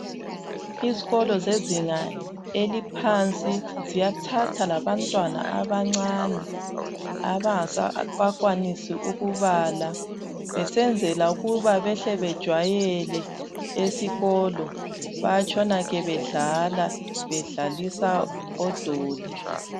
Izikolo zezinga eliphansi ziyathatha labantwana abancane abangakenelisi ukubala besenzela ukuba behle bejwayele esikolo, bayatshona ke bedlala bedlalisa odoli.